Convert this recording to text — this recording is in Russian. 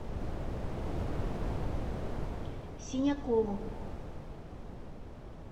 синякову